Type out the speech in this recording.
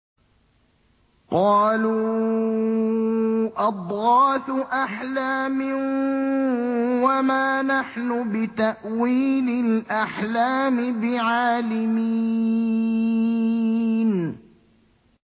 قَالُوا أَضْغَاثُ أَحْلَامٍ ۖ وَمَا نَحْنُ بِتَأْوِيلِ الْأَحْلَامِ بِعَالِمِينَ